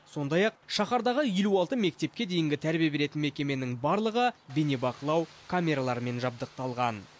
сондай ақ шаһардағы елу алты мектепке дейінгі тәрбие беретін мекеменің барлығы бейнебақылау камераларымен жабдықталған